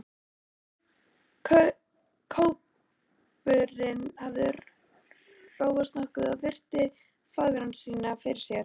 Kópurinn hafði róast nokkuð og virti fangara sína fyrir sér.